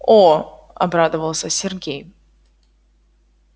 о обрадовался сергей